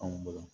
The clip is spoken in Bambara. Anw bolo